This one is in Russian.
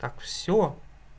всё